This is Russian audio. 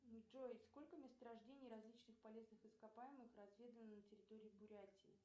джой сколько месторождений различных полезных ископаемых разведано на территории бурятии